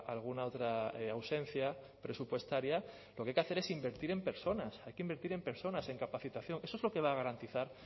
alguna otra ausencia presupuestaria lo que hay que hacer es invertir en personas hay que invertir en personas en capacitación eso es lo que va a garantizar